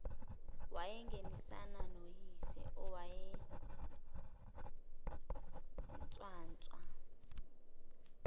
wangenisana noyise owayenswanswa